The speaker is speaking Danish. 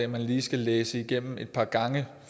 man lige skal læse igennem et par gange